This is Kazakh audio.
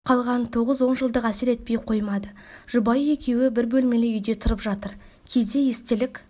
қалған тоғыз онжылдық әсер етпей қоймайды жұбайы екеуі бір бөлмелі үйде тұрып жатыр кейде естелік